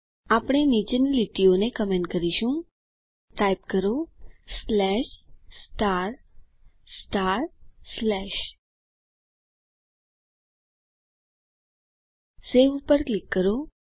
આપણે નીચેની લીટીઓને કમેન્ટ કરીશું ટાઇપ કરો સવે ઉપર ક્લિક કરો